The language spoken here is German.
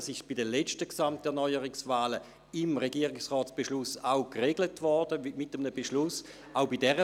Dies wurde vor den letzten Gesamterneuerungswahlen auch mit dem Regierungsratsbeschluss geregelt.